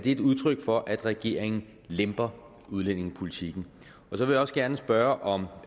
et udtryk for at regeringen lemper udlændingepolitikken jeg vil også gerne spørge om